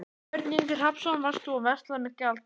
Björn Ingi Hrafnsson: Varst þú að versla með gjaldeyri?